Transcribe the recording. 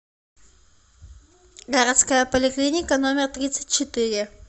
городская поликлиника номер тридцать четыре